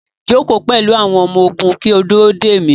Joko pẹlu awọn ọmọ-ogun ki o duro de mi